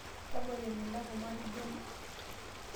Tabolo emilanko matijingu